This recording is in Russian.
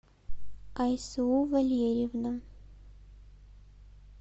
айсу валерьевна